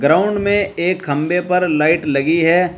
Ground में एक खंभे पर लाइट लगी है।